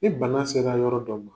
ni bana sera yɔrɔ dɔ ma